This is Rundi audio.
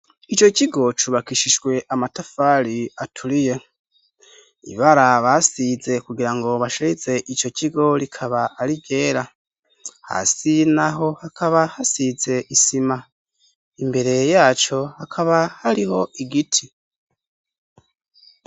Ico kigo cubakishijwe amatafari aturiye, ibara basize kugira ngo basharize ico kigo, rikaba ari iryera, hasi naho hakaba hasize isima, imbere yaco hakaba hariho igiti.